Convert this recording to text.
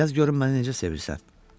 Yaz görüm məni necə sevirsən.